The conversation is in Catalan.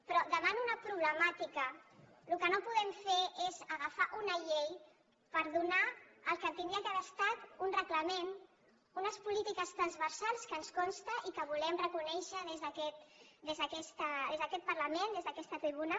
però davant una problemàtica el que no podem fer és agafar una llei per donar el que hauria d’haver estat un reglament unes polítiques transversals que ens consta i que volem reconèixer des d’aquest parlament des d’aquesta tribuna